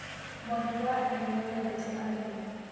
Mwangi wa iria nĩendete arimi